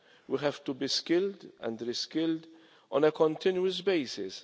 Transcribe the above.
We have to be skilled and re-skilled on a continuous basis.